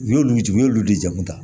U y'olu jigin u y'olu de jamu ta